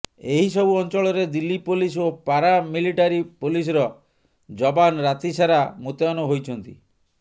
ଏହି ସବୁ ଅଞ୍ଚଳରେ ଦିଲ୍ଲୀ ପୋଲିସ ଓ ପାରା ମିଲିଟାରୀ ପୋଲିସର ଯବାନ ରାତି ସାରା ମୁତୟନ ହୋଇଛନ୍ତି